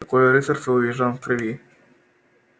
такое рыцарство у южан в крови